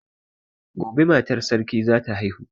Gobe matar sarki zata haihu